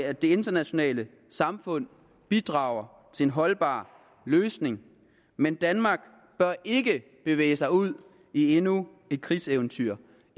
at det internationale samfund bidrager til en holdbar løsning men danmark bør ikke bevæge sig ud i endnu et krigseventyr i